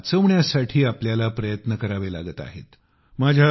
आज त्यांना वाचवण्यासाठी आपल्याला प्रयत्न करावे लागत आहेत